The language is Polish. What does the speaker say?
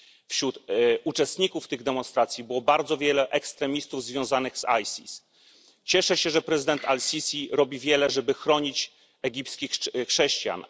Wśród uczestników tych demonstracji było bardzo wielu ekstremistów związanych z Isis. Cieszę się, że prezydent al Sisi robi wiele, żeby chronić egipskich chrześcijan.